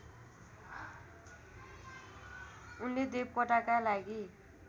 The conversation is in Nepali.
उनले देवकोटाका लागि